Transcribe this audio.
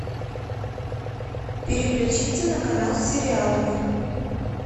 переключиться на канал с сериалами